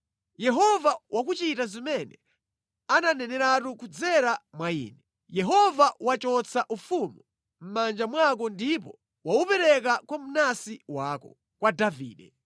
Yehova wakuchita zimene ananeneratu kudzera mwa ine. Yehova wachotsa ufumu mʼmanja mwako ndipo waupereka kwa mnansi wako, kwa Davide.